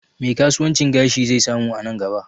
Me kasuwancin gashi zai samu a nan gaba?